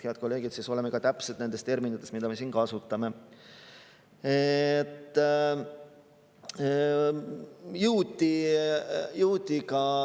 Head kolleegid, oleme siis ka täpsed nendes terminites, mida me siin kasutame.